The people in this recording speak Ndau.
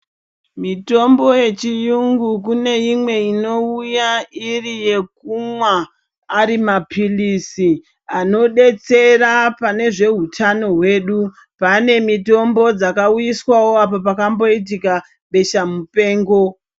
Mitombo yechiyungu kune imwe inouya iri yekumwa ari mapirizi anodetsira pane zveutano hwedu pane mitombo dzakauiswawo apo pakamboitika besha mupengo.